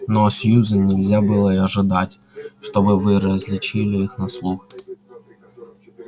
но сьюзен нельзя было и ожидать чтобы вы различили их на слух